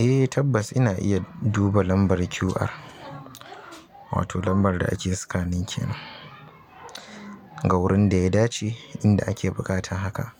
Eh tabbas ina iya duba lambar QR, wato lambar da ake scanning kenan. A wurin da ya dace inda ake buƙatan haka